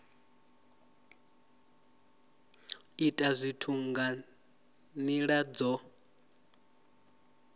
ita zwithu nga nila dzo